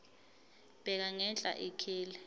bheka ngenhla ikheli